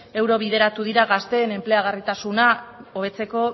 euro bideratu dira gazteen enpleagarritasuna hobetzeko